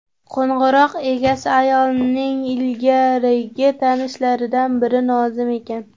Qo‘ng‘iroq egasi ayolning ilgarigi tanishlaridan biri Nozim ekan.